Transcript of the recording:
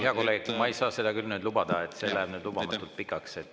Hea kolleeg, seda ma ei saa küll lubada, et see läheb lubamatult pikaks.